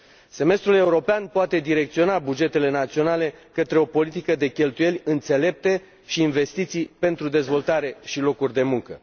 Semestrul european poate direcționa bugetele naționale către o politică de cheltuieli înțelepte și investiții pentru dezvoltare și locuri de muncă.